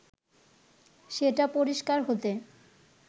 সেটা পরিষ্কার হতে